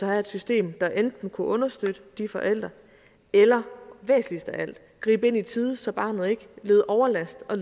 have et system der enten kunne understøtte de forældre eller væsentligst af alt gribe ind i tide så barnet ikke led overlast og